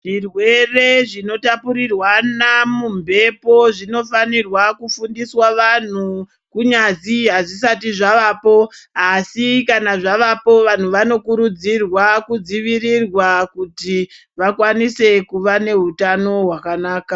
Zvirwere zvinotapurirwana mumbepo zvinofanirwa kufundiswa vanhu kunyazi hazvisati zvavapo, Asi kana zvavapo vanhu vanokurudzirwa kudzivirirwa kuti vakwanise kuva nehutano hwakanaka.